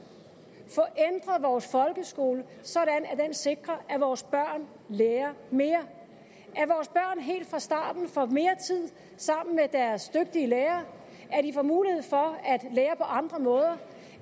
at vores folkeskole sådan at den sikrer at vores børn lærer mere at helt fra starten får mere tid sammen med deres dygtige lærere at de får mulighed for at lære på andre måder